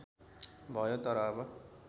भयो तर अब